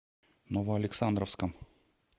новоалександровском